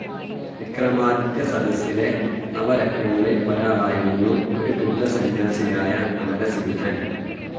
വിക്രമാദിത്യ സദസ്സിലെ നവരത്നങ്ങളിൽ ഒരാളായിരുന്നു ഒരു ബുദ്ധസന്യാസിയായ അമരസിംഹൻ